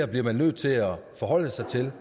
bliver nødt til at forholde sig til